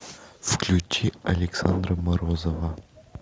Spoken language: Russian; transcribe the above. включи александра морозова